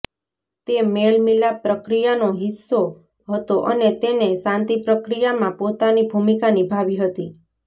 તે મેલ મિલાપ પ્રક્રિયાનો હિસ્સો હતો અને તેને શાંતિપ્રક્રિયામાં પોતાની ભુમિકા નિભાવી હતી